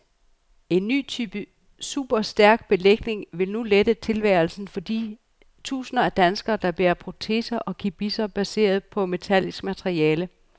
En ny type superstærk belægning vil nu lette tilværelsen for de tusinder af danskere, der bærer proteser og gebisser baseret på metallisk materiale.